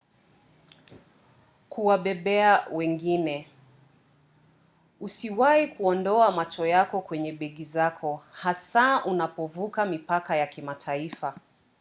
kuwabebea wengine - usiwahi kuondoa macho yako kwenye begi zako hasa unapovuka mipaka ya kimataifa